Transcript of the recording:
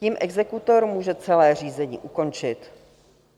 Tím exekutor může celé řízení ukončit.